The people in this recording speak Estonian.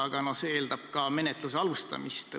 Aga see eeldab ka menetluse alustamist.